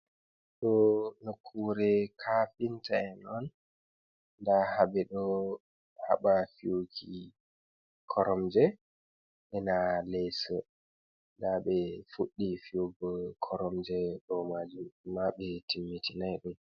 do nokkure kafinta en on, nda habe do haba fiyuki koromje, ena leso, nda be fuddi fiyugo koromje do majum ma be timmitinai dum.